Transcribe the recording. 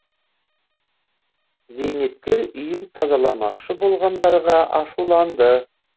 зейнеткер үйін тазаламақшы болғандарға ашуланды